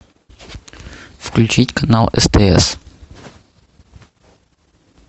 включить канал стс